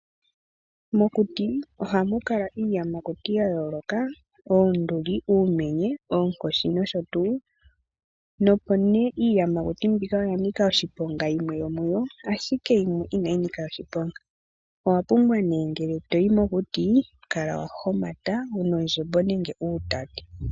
Mokuti oha mukala iiyamakuti yayoloka , Oonduli , uumenye, ookoshi nosho tu, nopo ne iiyamakuti mbika oyanika oshiponga yimwe yomuyo ashike yimwe inayinika oshiponga , owapumbwa ne ngele toyi mokuti kala wahomata wuna ondjembo nenge uutati.